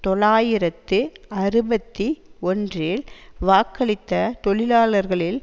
தொள்ளாயிரத்து அறுபத்தி ஒன்றில் வாக்களித்த தொழிலாளர்களில்